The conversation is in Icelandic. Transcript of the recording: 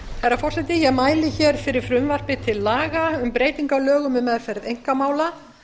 herra forseti ég mæli hér fyrir frumvarpi til laga um breytingu á lögum um meðferð einkamála